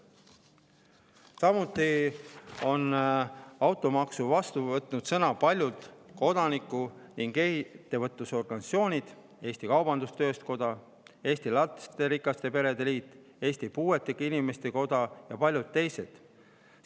Samuti on automaksu vastu võtnud sõna paljud kodaniku‑ ning ettevõtlusorganisatsioonid: Eesti Kaubandus-Tööstuskoda, Eesti Lasterikaste Perede Liit, Eesti Puuetega Inimeste Koda ja paljud teised.